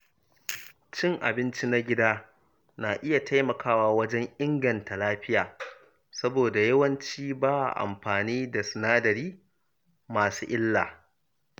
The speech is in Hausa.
Cin abinci na gida na iya taimakawa wajen inganta lafiya, saboda yawanci ba a amfani da sinadarai masu illa.